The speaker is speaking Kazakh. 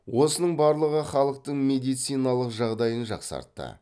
осының барлығы халықтың медициналық жағдайын дақсартты